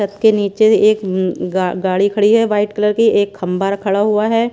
के नीचे एक न गा गाड़ी खड़ी है वाइट कलर की एक खंबा र खड़ा हुआ है।